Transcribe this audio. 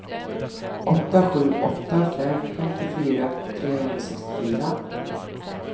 åtta sju åtta fem femtiofyra trehundrasextiofyra